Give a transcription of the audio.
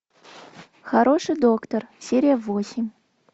хороший доктор серия восемь